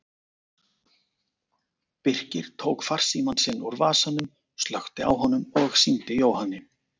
Birkir tók farsímann sinn úr vasanum, slökkti á honum og sýndi Jóhanni.